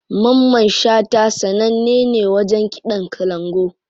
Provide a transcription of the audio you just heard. Mamman shata sananne ne wajen kiɗan kalangu.